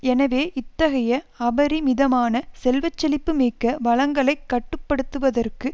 எனவே இத்தகைய அபரிமிதமான செல்வச்செழிப்பு மிக்க வளங்களைக் கட்டு படுத்துவதற்கு